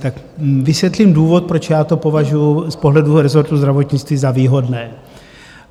Tak vysvětlím důvod, proč já to považuji z pohledu resortu zdravotnictví za výhodné.